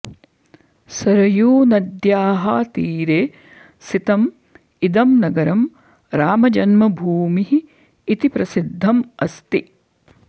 सरयूनद्याः तीरे स्थितम् इदं नगरं रामजन्मभूमिः इति प्रसिद्धम् अस्ति